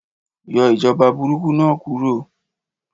Yọ ìjọba burúkú náà kúro